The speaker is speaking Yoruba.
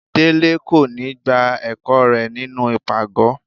Délé kò ní gbá ẹkọ rẹ nínú ipágọ.